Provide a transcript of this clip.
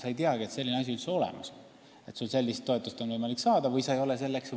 Sa ei teagi, et selline asi üldse olemas on ja kas sul on või ei ole võimalik sellist toetust saada.